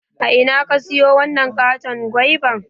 A ina ka siyo wanan katon goiba?